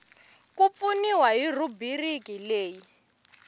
ku pfuniwa hi rhubiriki leyi